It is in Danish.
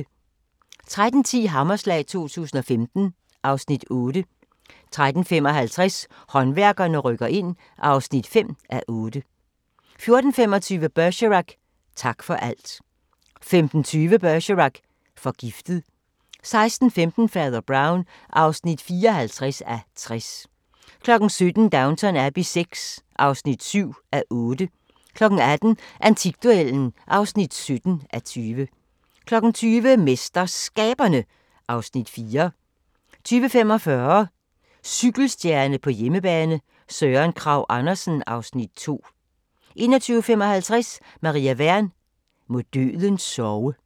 13:10: Hammerslag 2015 (Afs. 8) 13:55: Håndværkerne rykker ind (5:8) 14:25: Bergerac: Tak for alt 15:20: Bergerac: Forgiftet 16:15: Fader Brown (54:60) 17:00: Downton Abbey VI (7:8) 18:00: Antikduellen (17:20) 20:00: MesterSkaberne (Afs. 4) 20:45: Cykelstjerne på hjemmebane : Søren Kragh Andersen (Afs. 2) 21:55: Maria Wern: Må døden sove